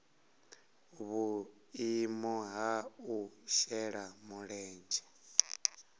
vhuimo ha u shela mulenzhe